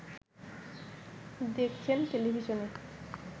দেখছেন টেলিভিশনে